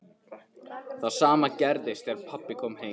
Það sama gerðist þegar pabbi kom heim.